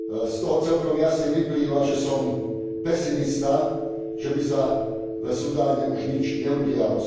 Z toho celkom jasne vyplýva, že som pesimista, že by sa v Sudáne už nič neudialo.